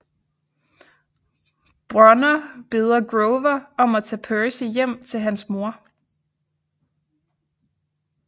Brunner beder Grover om at tage Percy hjem til hans mor